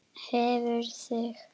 Hreyfðu þig.